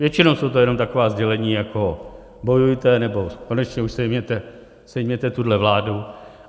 Většinou jsou to jenom taková sdělení, jako bojujte, nebo konečně už sejměte tuto vládu.